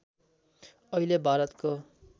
अहिले भारतको